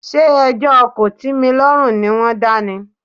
Ṣé ẹjọ́ kòtímilọ́rùn ni wọ́n dá ni?